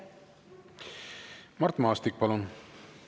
Mart Maastik, palun!